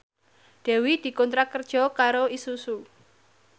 Dewi dikontrak kerja karo Isuzu